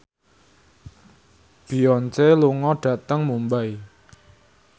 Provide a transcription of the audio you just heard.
Beyonce lunga dhateng Mumbai